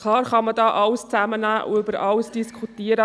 Klar, man kann hier alles reinnehmen und über alles diskutieren.